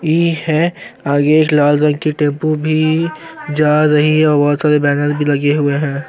D है आगे लाल रंग की टेम्पू भी जा रही है और बहुत सारे बैनर भी लगे हुए हैं।